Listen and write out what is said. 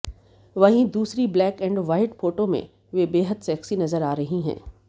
वहीँ दूसरी black and white photo में वह बेहद सेक्सी नजर आ रही हैं